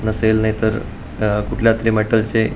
नसेल नाहीतर अ कुठल्या तरी मॅटलचे --